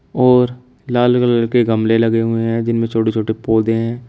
और लाल कलर के गमले लगे हुए हैं जिनमें छोटे छोटे पौधे हैं।